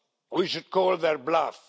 We should call their bluff.